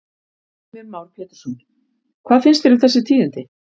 Heimir Már Pétursson: Hvað finnst þér um þessi tíðindi?